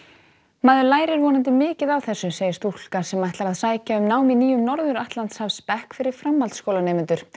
maður lærir vonandi mikið á þessu segir stúlka sem ætlar að sækja um nám í nýjum Norður fyrir framhaldsskólanemendur